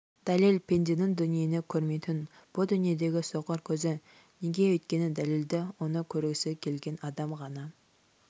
дәлел пенденің дүниені көрмейтін бұ дүниедегі соқыр көзі неге өйткені дәлелді оны көргісі келген адам ғана